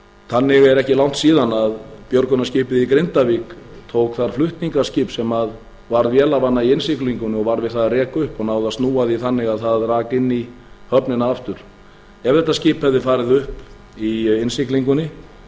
þannig er ekki langt síðan björgunarskipið í grindavík tók það flutningaskip sem varð vélarvana í innsiglingunni og var við það að reka upp og náði að snúa því þannig að það rak inn í höfnina aftur ef þetta skip hefði farið upp í innsiglingunni